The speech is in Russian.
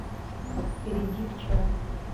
перейди в чат